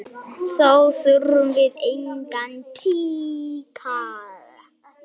Þá þurfum við engan tíkall!